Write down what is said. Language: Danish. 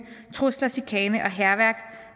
trusler chikane og hærværk